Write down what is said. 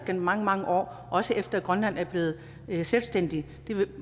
i mange mange år også efter at grønland er blevet selvstændigt